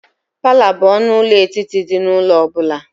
Palọ bụ ọnụ ụlọ etiti dị n'ụlọ ọ bụla.